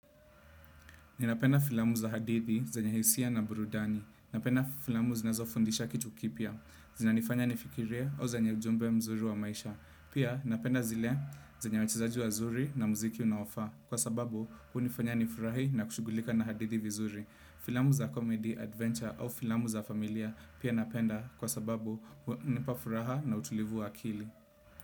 Ninapenda filamu za hadithi, zenye hisia na burudani. Ninapenda filamu zinazo fundisha kitu kipya. Zinanifanya nifikirie au zenye ujumbe mzuri wa maisha. Pia, napenda zile zenye wachezaji wazuri na mziki unaofaa. Kwa sababu, hunifanya nifurahi na kushughulika na hadithi vizuri. Filamu za comedy, adventure au filamu za familia pia napenda kwa sababu hunipafuraha na utulivu wa akili.